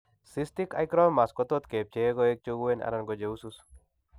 Cystic hygromas kotot kepchei koek cheuen anan cheusus